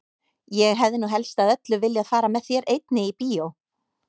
Ég hefði nú helst af öllu viljað fara með þér einni í bíó!